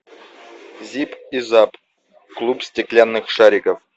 зип и зап клуб стеклянных шариков